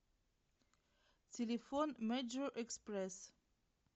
телефон мэджор экспресс